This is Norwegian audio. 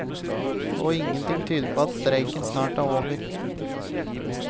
Og ingenting tyder på at streiken snart er over.